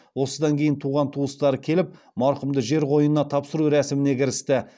осыдан кейін туған туыстары келіп марқұмды жер қойнына тапсыру рәсіміне кірісті